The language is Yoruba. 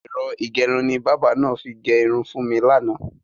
Ẹ̀rọ ìgẹrun ni bábà náà fi gẹ irun fún mi lánàá.